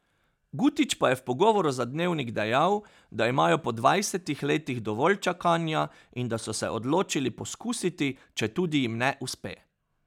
Gutić pa je v pogovoru za Dnevnik dejal, da imajo po dvajsetih letih dovolj čakanja in da so se odločili poskusiti, četudi jim ne uspe.